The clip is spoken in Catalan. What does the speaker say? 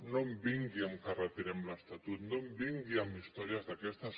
no em vingui que retirem l’estatut no em vingui amb històries d’aquestes